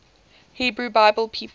hebrew bible people